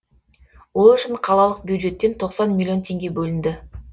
ол үшін қалалық бюджеттен тоқсан миллион теңге бөлінді